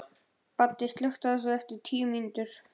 Baddi, slökktu á þessu eftir tíu mínútur.